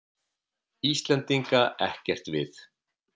Íslendinga ekkert við.